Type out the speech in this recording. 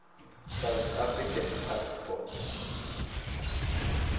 south african passport